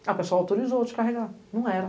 Aí o pessoal autorizou descarregar, não era.